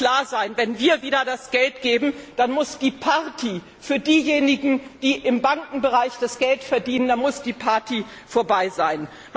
Eines muss klar sein, wenn wir wieder das Geld geben, dann muss die Party für diejenigen, die im Bankenbereich das Geld verdienen, vorbei sein.